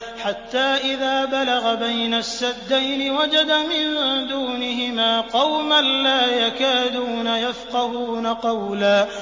حَتَّىٰ إِذَا بَلَغَ بَيْنَ السَّدَّيْنِ وَجَدَ مِن دُونِهِمَا قَوْمًا لَّا يَكَادُونَ يَفْقَهُونَ قَوْلًا